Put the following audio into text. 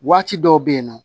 Waati dɔw bɛ yen nɔ